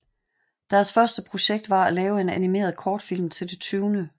Deres første projekt var at lave en animeret kortfilm til det 20